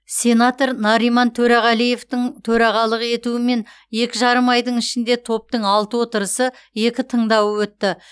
сенатор нариман төреғалиевтің төрағалық етуімен екі жарым айдың ішінде топтың алты отырысы екі тыңдауы өтті